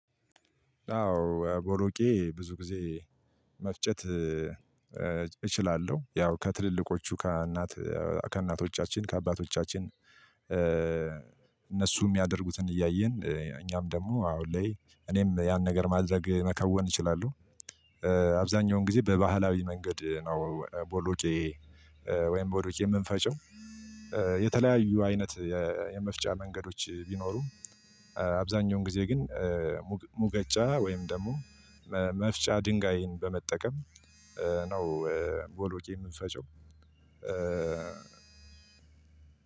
አዎ ቦሎቄ ብዙ ጊዜ መፍጨት እችላለሁ። ያው ከትልልቆቹ ከእናት ከእናቶቻችን ከአባቶቻችን እነሱ እሚያደርጉትን እያየን እኛም ደግሞ አሁን ላይ እኔም ያን ነገር ማድረግ መከወን እችላለሁ። አብዛኛውን ጊዜ በባህላዊ መንገድ ነው ቦሎቄ። ወይም ቦሎቄ የምንፈጪው። የተለያዩ አይነት የመፍጫ መንገዶች ቢኖሩም አብዛኛውን ጊዜ ግን ሙገጫ ወይም ደሞ መፍጫ ድንጋይን በመጠቀም ነው። ቦሎቄ እምንፈጪው